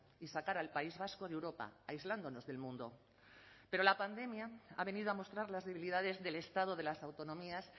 y sacar al país vasco de europa aislándonos del mundo pero la pandemia ha venido a mostrar las debilidades del estado de las autonomías